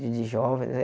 De de jovens.